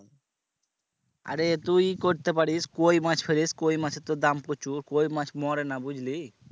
আরে তুই ই করতে পারিস কই মাছ ফেলিস কই মাছের তোর দাম প্রচুর কই মাছ মরে না বুঝলি?